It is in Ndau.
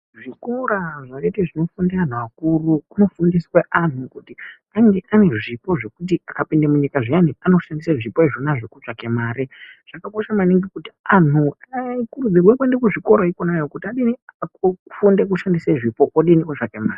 Zvikora zvakaite zvinofunde anhu akuru kunofundiswe anhu kuti ange ane zvipo zvekuti akapinde munyika zviyani anoshandise zvipo zvona Izvo kutsvake mare zvakakosha maningi kuti anhu akurudzirwe kuende kwona ikweyo kuzvikorayo kuti adini afunde kushandise zvipo odini otsvage mare .